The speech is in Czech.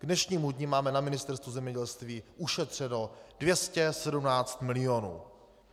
K dnešnímu dni máme na Ministerstvu zemědělství ušetřeno 217 milionů.